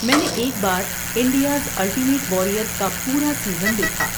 میں نے ایک بار 'انڈیاز الٹیمیٹ واریر' کا پورا سیزن دیکھا۔